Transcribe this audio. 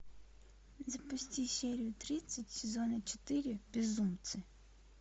запусти серию тридцать сезона четыре безумцы